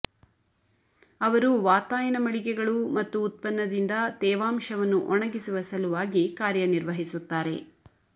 ಅವರು ವಾತಾಯನ ಮಳಿಗೆಗಳು ಮತ್ತು ಉತ್ಪನ್ನದಿಂದ ತೇವಾಂಶವನ್ನು ಒಣಗಿಸುವ ಸಲುವಾಗಿ ಕಾರ್ಯನಿರ್ವಹಿಸುತ್ತಾರೆ